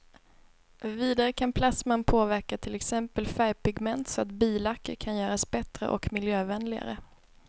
Vidare kan plasman påverka till exempel färgpigment så att billacker kan göras bättre och miljövänligare.